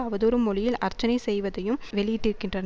அவதூறு மொழியில் அர்ச்சனை செய்வதையும் வெளியிட்டிருக்கின்றன